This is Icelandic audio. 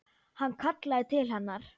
Hann kallaði til hennar.